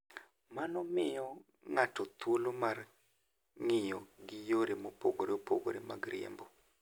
Mano miyo ng'ato thuolo mar ng'iyo gi yore mopogore opogore mag riembo.